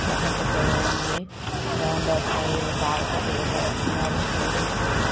చాలా పెద్దగా ఉంది ఏదో పారతోటి తవ్వుతున్నారు ఏదో. స్టూడెంట్స్ ఉనట్--